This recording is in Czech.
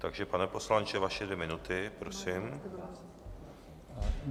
Takže, pane poslanče, vaše dvě minuty, prosím.